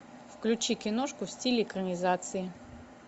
включи киношку в стиле экранизации